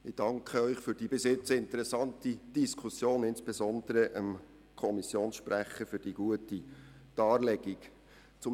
Ich danke Ihnen für die interessante Diskussion und insbesondere dem Kommissionssprecher für die gute Darstellung des Themas.